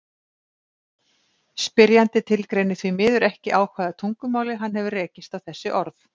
Spyrjandi tilgreinir því miður ekki á hvaða tungumáli hann hefur rekist á þessi orð.